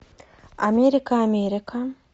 америка америка